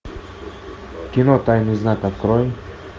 кино тайный знак открой